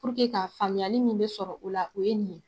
ka faamuyali min be sɔrɔ o la o ye nin ye.